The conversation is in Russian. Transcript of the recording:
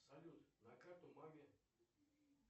салют на карту маме